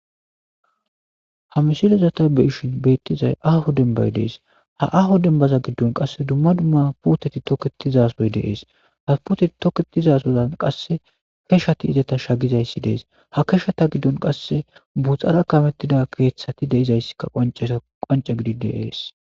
Ha mishilezata beyishin beettizay aho dembay dees ha aho dembaza giddon qasse dumma dumma puteti toketizasoy deees ha puteti toketizasozan qasse keshati izeta shagizayssi dees ha keshata giddon qasse buxara kamettida keeththati deizayssikka a qoanca gidi deees.